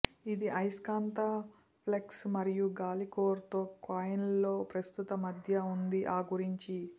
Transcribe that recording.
ఇది అయస్కాంత ఫ్లక్స్ మరియు గాలి కోర్ తో కాయిల్స్ లో ప్రస్తుత మధ్య ఉంది ఆ గురించి